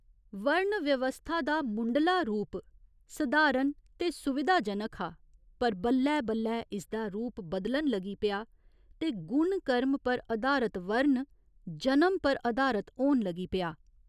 वर्ण व्यवस्था दा मुंढला रूप सधारण ते सुविधाजनक हा पर बल्लै बल्लै इस दा रूप बदलन लगी पेआ ते गुण कर्म पर अधारत 'वर्ण' जनम पर अधारत होन लगी पेआ।